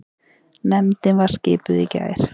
Nefndin var skipuð í gær.